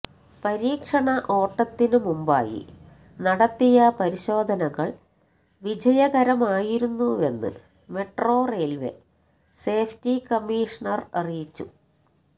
പരീക്ഷണ ഓട്ടത്തിന് മുമ്പായി നടത്തിയ പരിശോധകള് വിജയകരമായിരുന്നുവെന്ന് മെട്രോ റയില്വേ സേഫ്റ്റി കമ്മീഷണര് അറിയിച്ചു